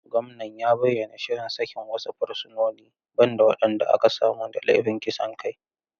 Gwamnan ya bayyana shirin sakin wasu fursunoni, ban da waɗanda aka samu da laifin kisan kai.